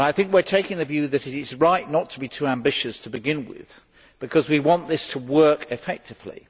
We are taking the view that it is right not to be too ambitious to begin with, because we want this to work effectively.